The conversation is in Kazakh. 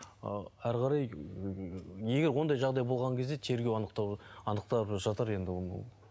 ы әрі қарай м егер ондай жағдай болған кезде тергеу анықтап жатар енді ол